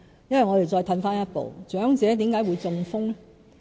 因為我們再退一步想想，為何長者會中風？